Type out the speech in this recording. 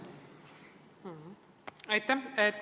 Aitäh!